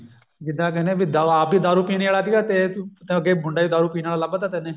ਜਿੱਦਾਂ ਕਹਿੰਦੇ ਵੀ ਆਪ ਵੀ ਦਾਰੂ ਪੀਣੇ ਆਲੇ ਤੇ ਅੱਗੇ ਮੁੰਡਾ ਵੀ ਦਾਰੂ ਪੀਣ ਆਲਾ ਲੱਭ ਤਾ ਤੈਨੇ